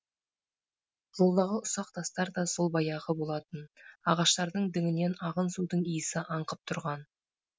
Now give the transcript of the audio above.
жолдағы ұсақ тастар да сол баяғы болатын ағаштардың діңінен ағын судың иісі аңқып тұрған